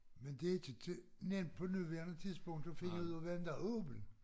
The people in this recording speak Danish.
Men det ikke nemt på nuværende tidspunkt at finde ud af hvem der er åben